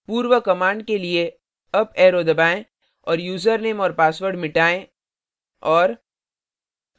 पूर्व command के लिए अप arrow दबाएं और यूज़रनेम और password मिटाएँ और